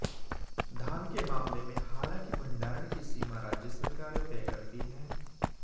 धान के मामले में हालांकि भंडारण की सीमा राज्य सरकारें तय करती हैं